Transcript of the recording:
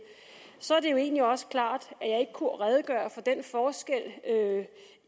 er det jo egentlig også klart at jeg ikke kunne redegøre for den forskel